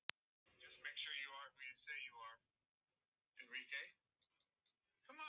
Hún trúir ekki sínum eigin eyrum.